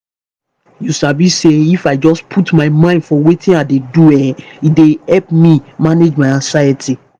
you sabi say if i just put mind for wetin i dey do e dey help me manage my anxiety.